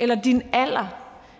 eller din alder